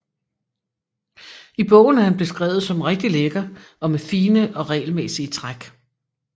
I bogen er han beskrevet som rigtig lækker og med fine og regelmæssige træk